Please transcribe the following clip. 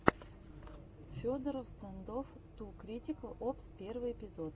федороффф стандофф ту критикал опс первый эпизод